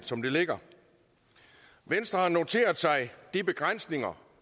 som det ligger venstre har noteret sig de begrænsninger